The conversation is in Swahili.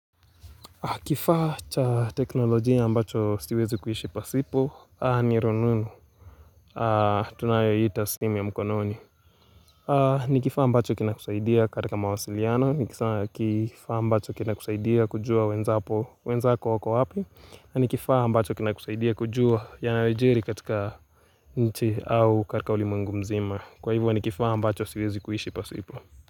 Kifaa cha teknolojia ambacho siwezi kuishi pasipo, ni rununu, tunayoiita simu ya mkononi. Nikifaa ambacho kina kusaidia katika mawasiliano, nikifaa ambacho kina kusaidia kujua wenzako wako wapi. Nikifaa ambacho kina kusaidia kujua yanayojiri katika nchi au katika ulimwengu mzima. Kwa hivyo nikifaa ambacho siwezi kuishi pasipo.